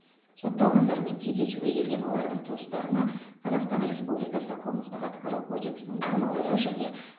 сотталғандармен кездесуге келген олардың туыстарына қазақстан республикасы қылмыстық атқару кодексінің нормалары және